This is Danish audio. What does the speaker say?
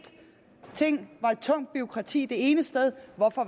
tungt bureaukrati det ene sted